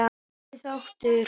Fyrsti þáttur